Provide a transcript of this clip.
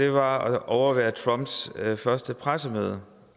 at overvære trumps første pressemøde